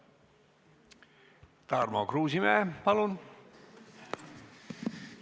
Tarmo Kruusimäe, palun!